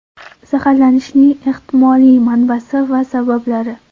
Zaharlanishning ehtimoliy manbasi va sabablari.